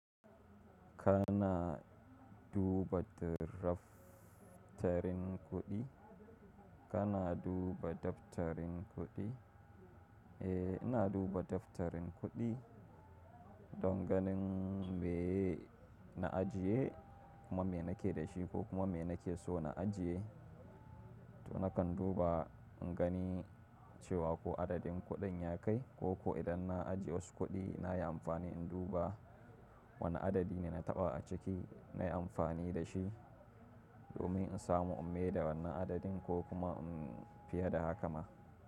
Kana duba daftarin kuɗi, kana duba daftarin kuɗi? Eh, ina duba daftarin kuɗi don ganin me na ajiye kuma me nake da shi ko kuma me nake so na ajiye. To nakan duba in gani cewa ko adadin kuɗin ya kai ko ko idan na ajiye wasu kuɗi nayi amfani in duba wane adadi ne na taɓa a ciki nayi amfani da shi domin in samu in maida wannan adadin ko kuma fiye da haka ma.